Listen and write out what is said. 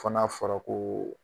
Fɔ n'a fɔra koo